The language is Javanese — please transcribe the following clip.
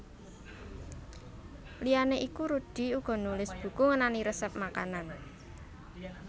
Liyané iku Rudy uga nulis buku ngenani resèp masakan